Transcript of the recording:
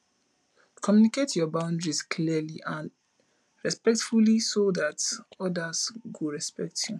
communicate your boundaries clearly and respectfully so dat others go respect you